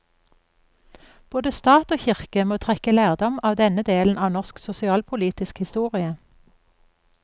Både stat og kirke må trekke lærdom av denne delen av norsk sosialpolitisk historie.